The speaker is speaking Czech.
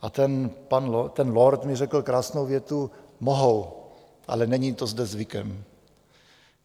A ten lord mi řekl krásnou větu: Mohou, ale není to zde zvykem.